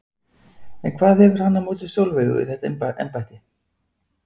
En hvað hefur hann á móti Sólveigu í þetta embætti?